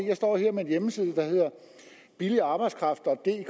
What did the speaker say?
jeg står her med en hjemmeside der hedder billig arbejdskraftdk